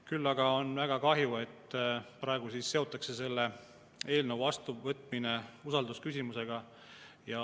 Küll aga on väga kahju, et praegu seotakse selle eelnõu vastuvõtmine usaldusküsimusega.